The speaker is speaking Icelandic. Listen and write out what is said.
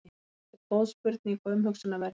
þetta er góð spurning og umhugsunarverð